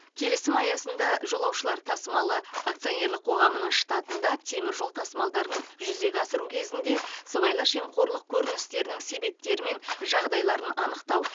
келісім аясында жолаушылар тасымалы акционерлік қоғамының штатында темір жол тасымалдарын жүзеге асыру кезінде сыбайлас жемқорлық көріністерінің себептері мен жағдайларын анықтау